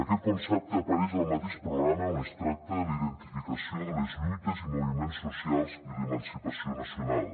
aquest concepte apareix al mateix programa on es tracta la identificació de les lluites i moviments socials i l’emancipació nacional